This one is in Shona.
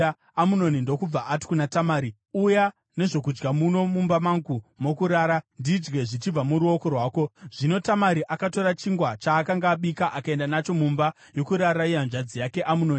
Amunoni ndokubva ati kuna Tamari, “Uya nezvokudya muno mumba mangu mokurara ndidye zvichibva muruoko rwako.” Zvino Tamari akatora chingwa chaakanga abika akaenda nacho mumba yokurara yehanzvadzi yake Amunoni.